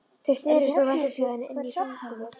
Þeir snerust og veltust hjá henni inni í hringnum.